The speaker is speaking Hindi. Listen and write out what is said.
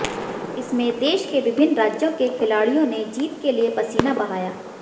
इसमें देश के विभिन्न राज्यों के खिलाड़ियों ने जीत के लिए पसीना बहाया